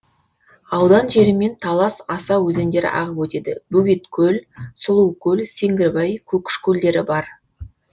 аудан жерімен талас аса өзендері ағып өтеді бөгеткөл сұлукөл сеңгірбай көкіш көлдері бар